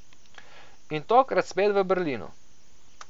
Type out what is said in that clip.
In tokrat spet v Berlinu.